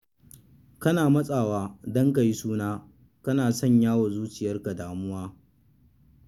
Kana matsawa don ka yi suna, kana sanya wa zuciyarka damuwa.